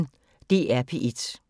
DR P1